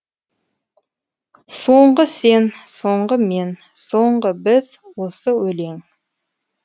соңғы сен соңғы мен соңғы біз осы өлең